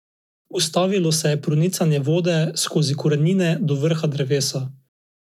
Prepričani so, da morata zaradi tega oditi, od zahteve pa ne bodo odstopili.